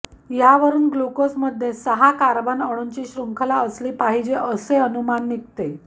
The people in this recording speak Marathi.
यावरून ग्लुकोजमध्ये सहा कार्बन अणूंची शृंखला असली पाहिजे असे अनुमान निघते